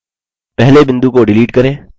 पहले बिंदु को डिलीट करें